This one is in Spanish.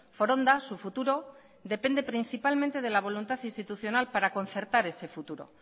foronda su futuro depende principalmente de la voluntad institucional para concertar ese futuro